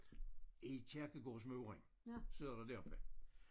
I kirkegårdsmuren sidder der deroppe